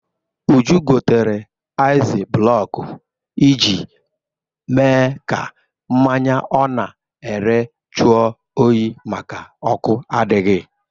Uju gotere aịz blọkụ iji mee ka mmanya ọ na-ere jụọ oyi maka ọkụ adịghị.